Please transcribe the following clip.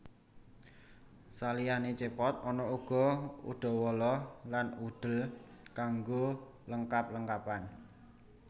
Saliyane Cepot ana uga Udawala lan Udel kanggo lengkap lengkapan